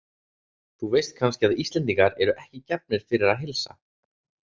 Þú veist kannski að Íslendingar eru ekki gefnir fyrir að heilsa?